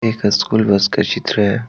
एक school bus का चित्र है।